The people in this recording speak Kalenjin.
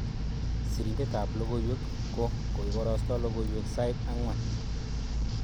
Sirindet ab logoiywek ko koibaraste logoiywek sait ang'wan